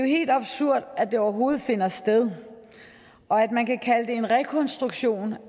helt absurd at det overhovedet finder sted og at man kan kalde det en rekonstruktion